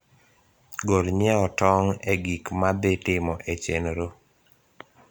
gol nyieo tong` e gik madhi timo e chenro